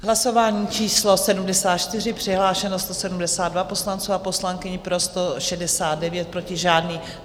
Hlasování číslo 74, přihlášeno 172 poslanců a poslankyň, pro 169, proti žádný.